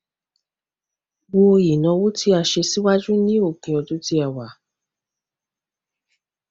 ro ináwó tí a ṣe síwájú ní òpin ọdún tí a wà